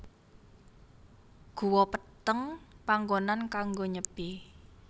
Guwa Peteng panggonan kanggo nyepi